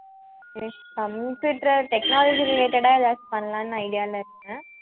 computer technology related ஆ ஏதாச்சும் பண்ணலாம்ன்னு idea ல இருந்தேன்